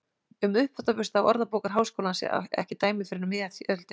Um uppþvottabursta á Orðabókar Háskólans ekki dæmi fyrr en um miðja öldina.